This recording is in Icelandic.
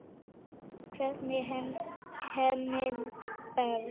Hvernig er Henning Berg?